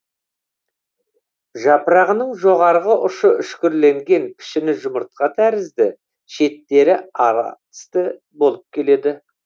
жапырағының жоғарғы ұшы үшкірленген пішіні жұмыртқа тәрізді шеттері ара тісті болып келеді